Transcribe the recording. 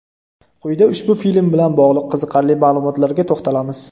Quyida ushbu film bilan bog‘liq qiziqarli ma’lumotlarga to‘xtalamiz.